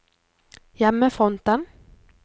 hjemmefronten